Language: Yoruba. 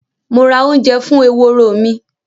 Mo ra ounje fún eworo mí